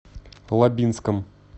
лабинском